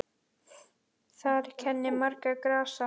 Þar kennir margra grasa.